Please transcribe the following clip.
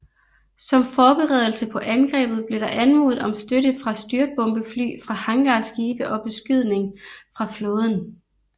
Som forberedelse på angrebet blev der anmodet om støtte fra styrtbombefly fra hangarskibe og beskydning fra flåden